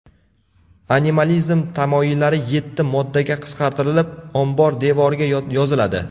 Animalizm tamoyillari yetti moddaga qisqartirilib, ombor devoriga yoziladi.